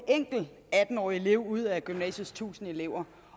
enkelt atten årig elev ud af gymnasiets tusind elever